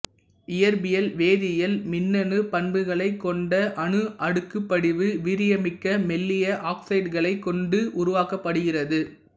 இயற்பியில் வேதியியல் மின்னணு பண்புகளைக் கொண்ட அணு அடுக்குப்படிவு வீரியமிக்க மெல்லிய ஆக்ஸைடுகளைக் கொண்டு உருவாக்கப்படுகிறது